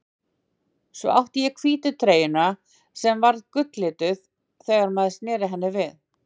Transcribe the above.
Svo átti ég hvítu treyjuna sem var gulllituð þegar maður sneri henni við.